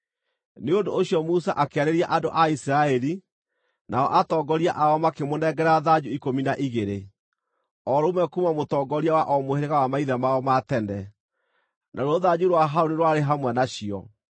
Nĩ ũndũ ũcio Musa akĩarĩria andũ a Isiraeli, nao atongoria ao makĩmũnengera thanju ikũmi na igĩrĩ, o rũmwe kuuma mũtongoria wa o mũhĩrĩga wa maithe mao ma tene, naruo rũthanju rwa Harũni rwarĩ hamwe nacio.